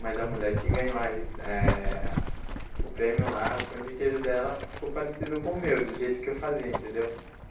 Mas a mulher que ganhou a recei eh o prêmio lá, o pão de queijo dela ficou parecido com o meu, do jeito que eu fazia, entendeu?